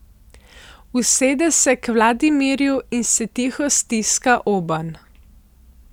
Usede se k Vladimirju in se tiho stiska obenj.